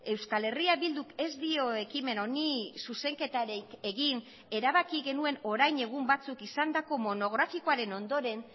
euskal herria bilduk ez dio ekimen honi zuzenketarik egin erabaki genuen orain egun batzuk izandako monografikoaren ondoren